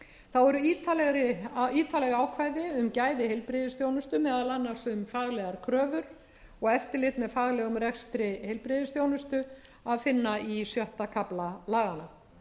þá er ítarleg ákvæði um gæði heilbrigðisþjónustu meðal annars um faglegar kröfur og eftirlit með faglegum rekstri heilbrigðisþjónustu að finna í sjötta kafla laganna